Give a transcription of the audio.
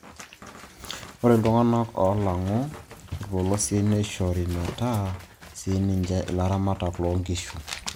Ore iltung'anak oolang'u irpolosien neishore metaa sininche ilaramatak loo nkishu